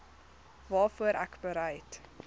waarvoor ek bereid